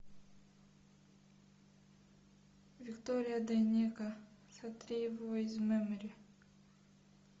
виктория дайнеко сотри его из мемори